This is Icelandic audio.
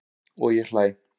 Og ég hlæ.